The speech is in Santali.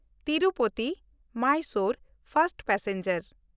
ᱛᱤᱨᱩᱯᱚᱛᱤ–ᱢᱟᱭᱥᱳᱨ ᱯᱷᱟᱥᱴ ᱯᱮᱥᱮᱧᱡᱟᱨ